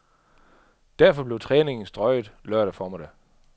Derfor blev træningen strøget lørdag formiddag.